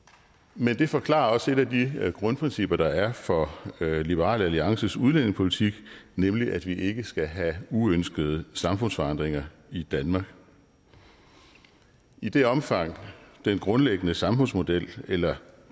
men det forklarer også et af de grundprincipper der er for liberal alliances udlændingepolitik nemlig at vi ikke skal have uønskede samfundsforandringer i danmark i det omfang den grundlæggende samfundsmodel eller